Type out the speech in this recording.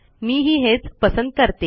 मी ही हेच पसंत करते